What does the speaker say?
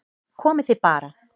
Komið þið bara